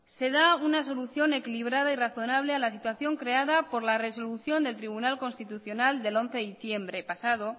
se da una solución equilibrada y razonable a la situación creada por la resolución del tribunal constitucional del once de diciembre pasado